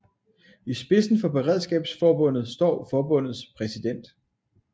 I spidsen for Beredskabsforbundet står forbundets præsident